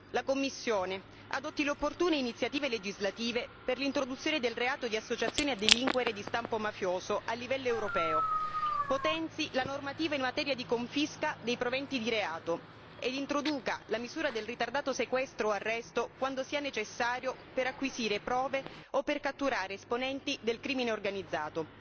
la Commissione adotti le opportune iniziative legislative per l'introduzione del reato di associazione a delinquere di stampo mafioso, a livello europeo, potenzi la normativa in materia di confisca dei proventi di reato e introduca la misura del ritardato sequestro o arresto quando sia necessario per acquisire prove o per catturare esponenti del crimine organizzato